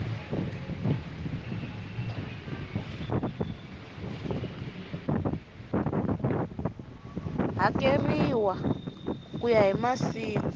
hakeriwa ku ya hi masiku